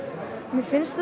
mér finnst